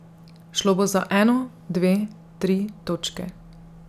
Šlo bo za eno, dve, tri točke.